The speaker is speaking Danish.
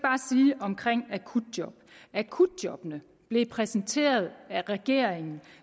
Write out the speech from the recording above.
akutjob at akutjobbene blev præsenteret af regeringen